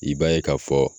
I b'a ye k'a fɔ